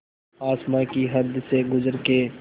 आसमां की हद से गुज़र के